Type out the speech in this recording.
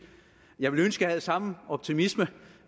jeg ville ønske jeg havde samme optimisme